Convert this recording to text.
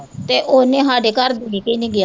ਤੇ ਉਹਨੇ ਸਾਡੇ ਘਰ ਦੇ ਕੇ ਹੀ ਨੀ ਗਿਆ।